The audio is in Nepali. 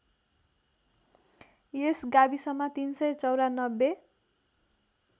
यस गाविसमा ३९४